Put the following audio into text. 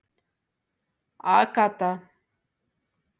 Agatha